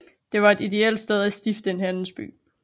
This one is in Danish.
Det var et ideelt sted at stifte en handelsby